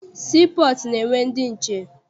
Sii pọọtụ na-enwe ndị nche.